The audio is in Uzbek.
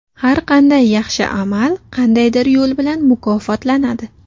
Har qanday yaxshi amal qandaydir yo‘l bilan mukofotlanadi.